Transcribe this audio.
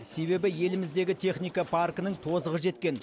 себебі еліміздегі техника паркінің тозығы жеткен